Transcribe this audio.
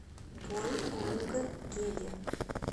бойонггеде